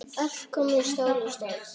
Allt komið stál í stál.